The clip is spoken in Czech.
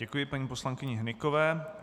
Děkuji Paní poslankyni Hnykové.